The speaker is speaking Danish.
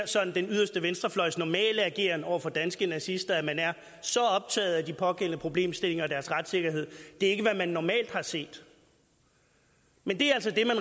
den yderste venstrefløjs sådan normale ageren over for danske nazister at man er så optaget af de pågældende problemstillinger og deres retssikkerhed det er ikke hvad man normalt har set men det er